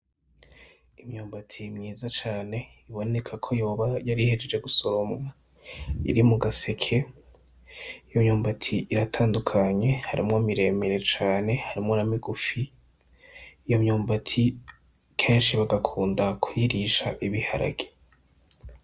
Imyumbati myiza cane ibonekako yoba yari ihejeje gusoromwa iri mugaseke iyo myumbati iratandukanye harimwo miremire cane harimwo na migufi, iyo myumbati kenshi bagakunda kuyirisha ibiharage.